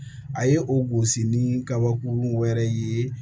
A ye o gosi ni kabakurun wɛrɛ ye